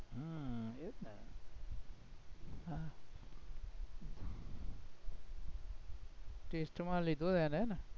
test માં લીધો એને ને